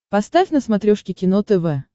поставь на смотрешке кино тв